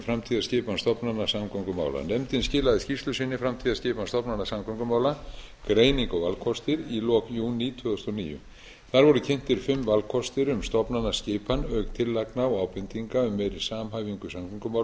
framtíðarskipan stofnana samgöngumála nefndin skilaði skýrslu sinni framtíðarskipan stofnana samgöngumála greining og valkostir í lok júní tvö þúsund og níu þar voru kynntir fimm valkostir um stofnanaskipan auk tillagna og ábendinga um meiri samhæfingu í samgöngumálum